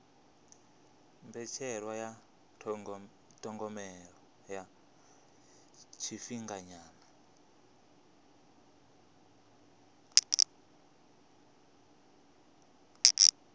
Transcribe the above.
mbetshelwa ya thogomelo ya tshifhinganyana